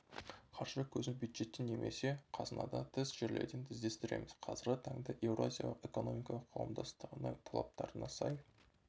қаржы көзін бюджеттен немесе қазынадан тыс жерлерден іздестіреміз қазіргі таңда еуразиялық экономикалық қауымдастығының талаптарына сай